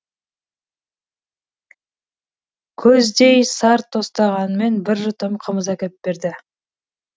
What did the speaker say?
көздей сар тостағанмен бір жұтым қымыз әкеп берді